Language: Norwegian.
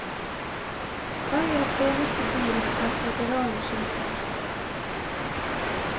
Øyas eneste bil har føderale skilter.